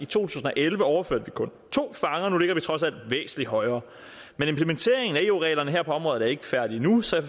tusind og elleve overførte vi kun to fanger og nu ligger vi trods alt væsentlig højere men implementeringen af eu reglerne her på området er ikke færdige endnu så